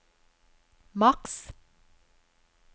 maks